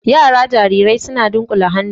Yara jarirai suna dunƙule hannu